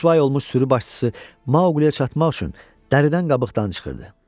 Rüsvay olmuş sürü başçısı Mauqliyə çatmaq üçün dəridən qabıqdan çıxırdı.